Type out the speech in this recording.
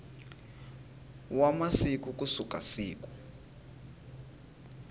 wa masiku ku suka siku